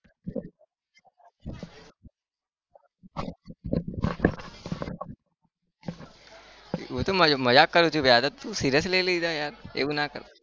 હું તો મજાક કરું ભાઈ આ તો તું seriously લઇ લીધું યાર